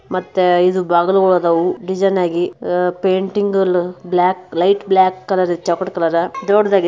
ಮತ್ತೆ ಇದು ಬಾಗಿಲು ಇದಾವೆ ಡಿಸೈನ್ ಆಗಿ ಪೇಂಟಿಂಗ್ ಇದೆ ಬ್ಲಾಕ್ ಲೈಟ್ ಬ್ಲಾಕ್ ಕಲರ್ ದೊಡ್ಡದಾಗಿ.